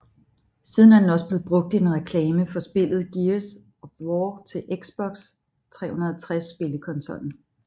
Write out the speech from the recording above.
Siden er den også blevet brugt i en reklame for spillet Gears of War til Xbox 360 spillekonsollen